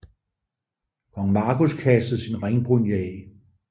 Kong Magnus kastede sin ringbrynje af